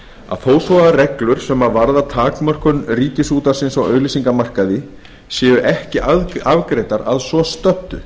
að þó svo að reglur sem varða takmörkun ríkisútvarpsins á auglýsingamarkaði séu ekki afgreiddar að svo stöddu